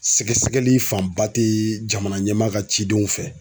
Sɛgɛsɛgɛli fanba ti jamana ɲɛmaa ka cidenw fɛ.